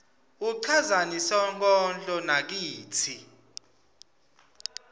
uchazani sonkondlo nakatsi